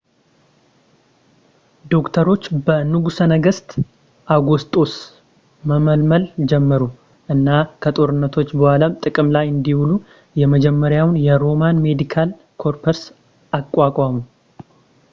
ዶክተሮች በንጉሠ ነገሥት አውጉስጦስ መመልመል ጀመሩ እና ከጦርነቶች በኋላም ጥቅም ላይ እንዲውሉ የመጀመሪያውን የሮማን ሜዲካል ኮርፕስ አቋቋሙ